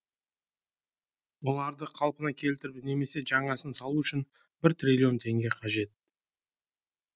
оларды қалпына келтіріп немесе жаңасын салу үшін бір триллион теңге қажет